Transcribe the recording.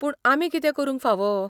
पूण आमी कितें करूंक फाव ?